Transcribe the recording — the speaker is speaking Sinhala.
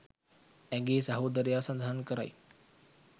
ඇගේ සහෝදරයා සඳහන් කරයි